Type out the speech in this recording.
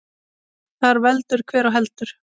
Þar veldur hver á heldur.